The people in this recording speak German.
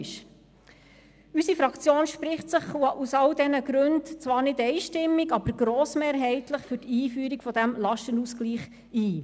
Unsere Fraktion spricht sich aus allen diesen Gründen – zwar nicht einstimmig, aber grossmehrheitlich – für die Einführung dieses Lastenausgleichs aus.